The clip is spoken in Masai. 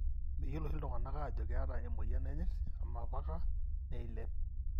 meyiolo oshi iltungana ajo keeta emoyian enyirt amapaka neilep.